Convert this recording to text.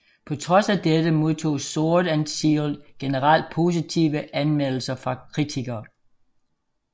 På trods af dette modtog Sword og Shield generelt positive anmeldelser fra kritikere